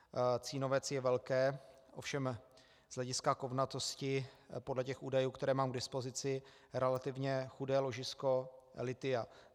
Cínovec je velké, ovšem z hlediska kovnatosti podle těch údajů, které mám k dispozici, relativně chudé ložisko lithia.